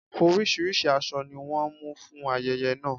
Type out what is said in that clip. Orísìírísìí aṣọ ni wọ́n mú fún ayẹyẹ náà.